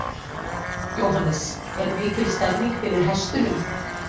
Jóhannes: Er mikil stemmning fyrir hestunum?